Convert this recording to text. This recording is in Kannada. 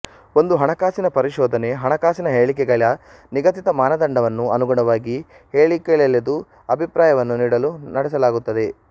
ಒಂದು ಹಣಕಾಸಿನ ಪರಿಶೋಧನೆ ಹಣಕಾಸಿನ ಹೇಳಿಕೆಗಳ ನಿಗದಿತ ಮಾನದಂಡವನ್ನು ಅನುಗುಣವಾಗಿ ಹೇಳಿಕೆ ಲೆದು ಅಭಿಪ್ರಾಯವನ್ನು ನೀಡಲು ನಡೆಸಲಾಗುತ್ತದೆ